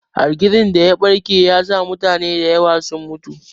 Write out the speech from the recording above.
Hargitsin daya ɓarke yasa mutane da yawa sun mutu.